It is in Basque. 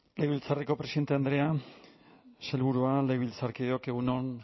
legebiltzarreko presidente andrea sailburuok legebiltzarkideok egun on